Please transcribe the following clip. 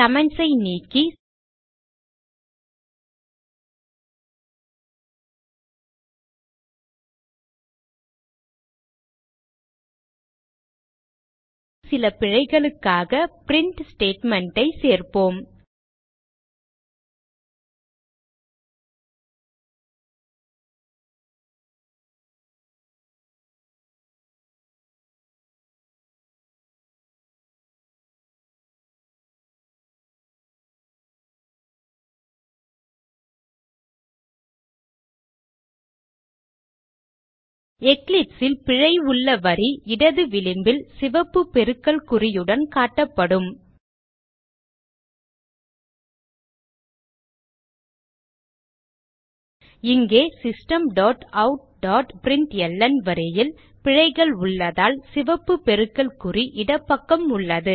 comments ஐ நீக்கி சில பிழைகளுக்காக பிரின்ட் statement ஐ சேர்ப்போம் Eclipse ல் பிழை உள்ள வரி இடது விளிம்பில் சிவப்பு பெருக்கல் குறியுடன் காட்டப்படும் இங்கே systemoutபிரின்ட்ல்ன் வரியில் பிழைகள் உள்ளதால் சிவப்பு பெருக்கல் குறி இடப்பக்கம் உள்ளது